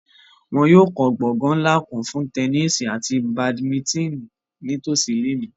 Wọn yóò kọ gbongan nla kan fun tẹnisi ati badimitini nitosi ile mi